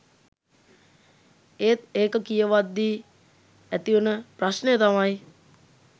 ඒත් ඒක කියවද්දි ඇතිවන ප්‍රශ්නය තමයි